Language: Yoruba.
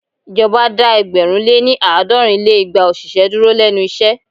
Ìjọba dá ẹgbẹ̀rún lé ní- àádọ́rùn lé igba òṣìṣẹ́ dúró lénu iṣẹ́.